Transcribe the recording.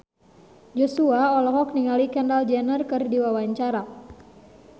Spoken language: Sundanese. Joshua olohok ningali Kendall Jenner keur diwawancara